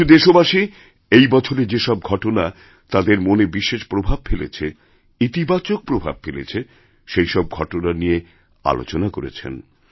কিছু দেশবাসী এই বছরে যে সব ঘটনাতাঁদের মনে বিশেষ প্রভাব ফেলেছেইতিবাচক প্রভাব ফেলেছে সেই সব ঘটনা নিয়ে আলোচনা করেছেন